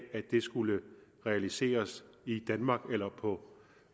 skulle realiseres i danmark eller